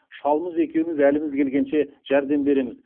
шалымыз екеуміз әліміз келгенше жәрдем береміз